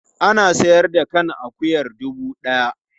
Ana sayar da kan akuyar dubu ɗaya.